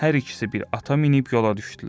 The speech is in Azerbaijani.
Hər ikisi bir at minib yola düşdülər.